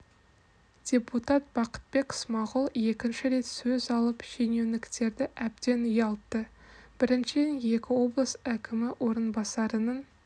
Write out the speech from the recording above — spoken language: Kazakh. депутат бақытбек смағұл екінші рет сөз алып шенеуніктерді әбден ұялтты біріншіден екі облыс әкімі орынбасарының